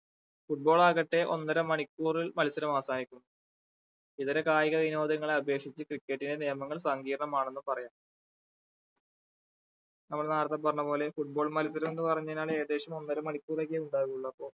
football ആവട്ടെ ഒന്നര മണിക്കൂറിൽ മത്സരം അവസാനിക്കും ഇതര കായിക വിനോദങ്ങളെ അപേക്ഷിച്ച് cricket ന്റെ നിയമങ്ങൾ സംഗീർണമാണെന്ന് പറയാം നമ്മൾ നേരത്തെ പറഞ്ഞ പോലെ foot ball മത്സരം എന്ന് പറഞ്ഞു കഴിഞ്ഞാൽ ഏകദേശം ഒന്നര മണിക്കൂർ ഒക്കെയാ ഉണ്ടാവുള്ളു അപ്പൊ